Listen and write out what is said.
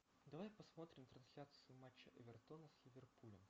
давай посмотрим трансляцию матча эвертона с ливерпулем